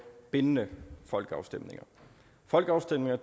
bindende folkeafstemninger folkeafstemninger